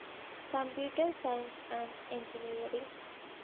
computer science and engineering